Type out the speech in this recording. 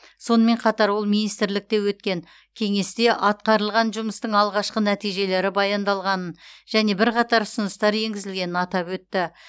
сонымен қатар ол министрлікте өткен кеңесте атқарылған жұмыстың алғашқы нәтижелері баяндалғанын және бірқатар ұсыныстар енгізілгенін атап өтті